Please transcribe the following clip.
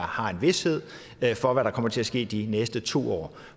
har en vished for hvad der kommer til at ske de næste to år